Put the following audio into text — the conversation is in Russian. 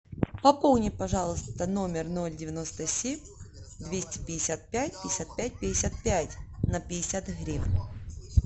пополни пожалуйста номер ноль девяносто семь двести пятьдесят пять пятьдесят пять пятьдесят пять на пятьдесят гривен